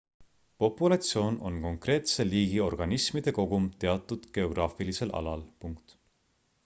populatsioon on konkreetse liigi organismide kogum teatud geograafilisel alal